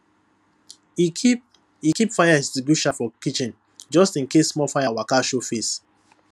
e keep e keep fire extinguisher for kitchen just in case small fire waka show face